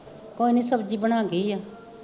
ਕੋਈ ਨਾ ਸਬਜ਼ੀ ਬਣਾ ਗਈ ਆ